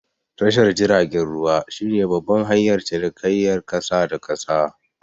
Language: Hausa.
Tashar jiragen ruwa shi ne babban hanyar cinikayar ƙasa da ƙasa